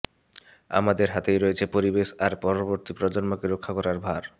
আমাদের হাতেই রয়েছে পরিবেশ আর পরবর্তী প্রজন্মকে রক্ষা করার ভার